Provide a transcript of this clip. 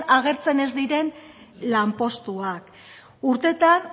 agertzen ez diren lanpostuak urtetan